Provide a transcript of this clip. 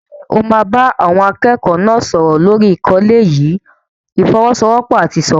Ṣé o máa bá àwọn akẹ́kọ̀ọ́ náà sọ̀rọ̀ lórí àkọlé yìí "ìfọ́wọ́sọwọ́pọ̀ àti ìṣọ̀kan"?